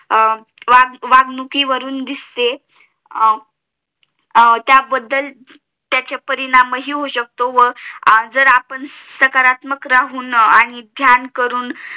वागूंकीवरून दिसते त्याबद्दल त्याचे परिणाम हि होऊ शकतो व जर आपण सकारात्मक राहून आणि ध्यान करून